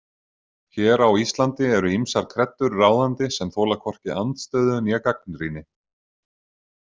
Hér á Íslandi eru ýmsar kreddur ráðandi sem þola hvorki andstöðu né gagnrýni.